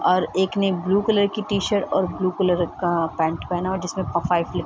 और एक ने ब्लू कलर की टी-शर्ट और ब्लू कलर का पैंट पहना है जिसमें फ फाइफ लिखा --